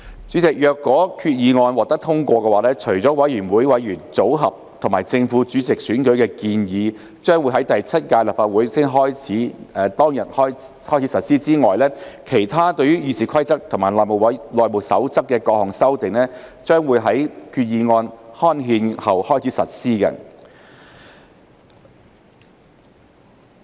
主席，若決議案獲通過，除了有關委員會委員組合及正副主席選舉的建議將於第七屆立法會開始當日起實施外，其他對《議事規則》及《內務守則》的各項修訂將於決議案刊憲後開始實施。